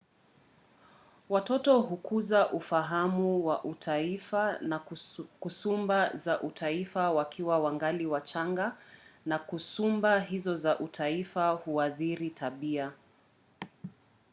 watoto hukuza ufahamu wa utaifa na kasumba za utaifa wakiwa wangali wachanga na kasumba hizo za utaifa huathiri tabia